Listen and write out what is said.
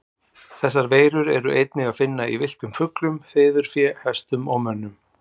Þessar veirur er einnig að finna í villtum fuglum, fiðurfé, hestum og mönnum.